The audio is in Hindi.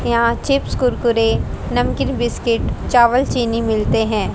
यहां पे चिप्स कुरकुरे नमकीन बिस्किट चावल चीनी मिलते हैं।